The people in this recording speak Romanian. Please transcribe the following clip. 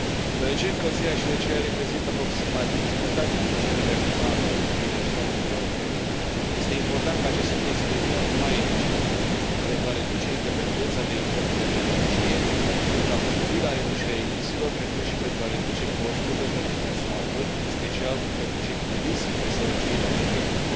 Deoarece încălzirea și răcirea reprezintă aproximativ jumătate din cererea finală de energie a Uniunii Europene, este important ca acest sector să devină mai eficient, pentru a reduce dependența de importurile de energie, pentru a contribui la reducerea emisiilor, precum și pentru a reduce costurile pentru consumatori, în special pentru cei cu risc de sărăcie energetică.